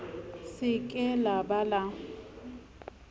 se ke la ba la